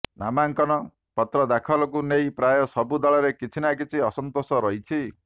ନାମାଙ୍କନ ପତ୍ର ଦାଖଲକୁ ନେଇ ପ୍ରାୟ ସବୁ ଦଳରେ କିଛି ନା କିଛି ଅସନ୍ତୋଷ ରହିଛି